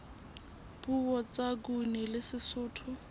puo tsa nguni le sesotho